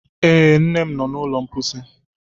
Ee, nne m nọ n'ụlọ mposi.